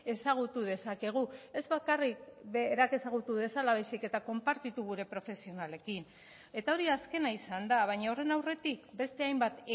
ezagutu dezakegu ez bakarrik berak ezagutu dezala baizik eta konpartitu gure profesionalekin eta hori azkena izan da baina horren aurretik beste hainbat